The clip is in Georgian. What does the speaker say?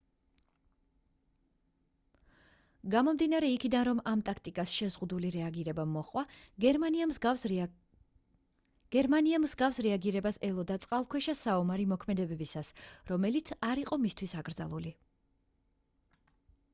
გამომდინარე იქიდან რომ ამ ტაქტიკას შეზღუდული რეაგირება მოჰყვა გერმანია მსგავს რეაგირებას ელოდა წყალქვეშა საომარი მოქმედებებისას რომელიც არ იყო მისთვის აკრძალული